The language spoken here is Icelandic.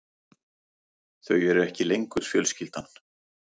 Þau eru ekki lengur fjölskyldan.